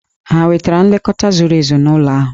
Hà nwetara nlekọta zuru ezu n'ụlọ ahụ?